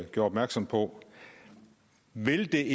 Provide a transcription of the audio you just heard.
gjorde opmærksom på vil det